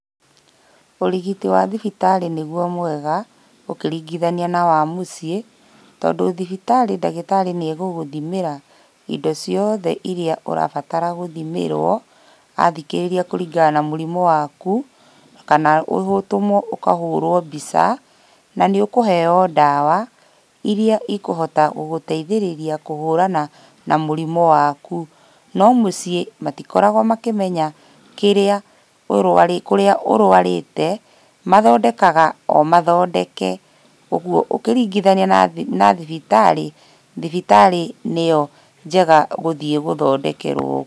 Ũrigiti wa thibitarĩ nĩguo mwega ũkĩringithania na wa mũciĩ tondũ thibitarĩ ndagĩtarĩ nĩegũgũthimĩra indo ciothe irĩa ũrabatara gũthimĩrwo athikĩrĩria kũringana na mũrimũ waku kana ũtũmwo ũkahũrwo mbica na nĩ ũkũheyo ndawa irĩa cikũhota gũteithĩrĩria kũhũrana na mũrimũ waku, no mũciĩ matikoragwo makĩmenya kĩrĩa ũrwarĩte kũrĩa ũrwarĩte mathondekaga o mathondeke. Koguo ũkĩringithania na thibitarĩ, thibitarĩ nĩyo njega gũthiĩ gũthondekerwo.